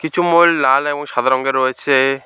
কিছু মোল লাল এবং সাদা রঙের রয়েছে।